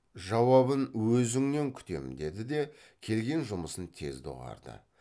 жауабын өзіңнен күтемін деді де келген жұмысын тез доғарды